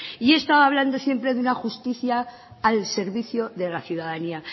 y he estado hablando siempre de una justicia al servicio de la ciudadanía